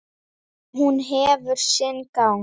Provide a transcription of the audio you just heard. Og hún hefur sinn gang.